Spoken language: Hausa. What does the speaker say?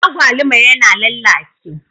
Agwaluma yana lallace.